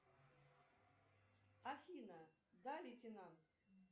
афина да лейтенант